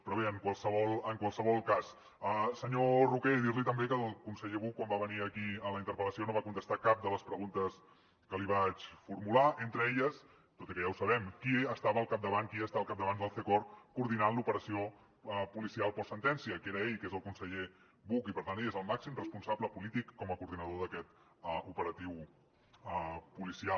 però bé en qualsevol cas senyor roquer dir li també que el conseller buch quan va venir aquí a la interpel·lació no va contestar cap de les preguntes que li vaig formular entre elles tot i que ja ho sabem qui estava al capdavant qui està al capdavant del cecop coordinant l’operació policial postsentència que era ell el conseller buch i per tant ell és el màxim responsable polític com a coordinador d’aquest operatiu policial